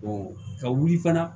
ka wuli fana